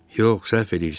Yox, səhv eləyirsən.